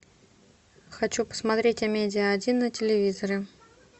хочу посмотреть амедиа один на телевизоре